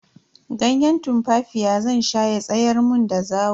Ganye tumfafiya zan sha ya tsayar mun da zawo.